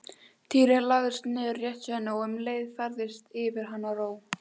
Týri lagðist niður rétt hjá henni og um leið færðist yfir hana ró.